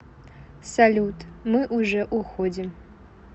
салют мы уже уходим